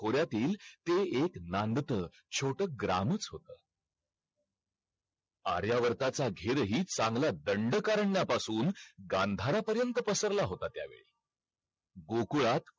एक पुस्तक हाय म्हणजे subject .हाय Commerce वाल्यांसाठी commerce student साठी त्यामध्ये सगळी माहित~ .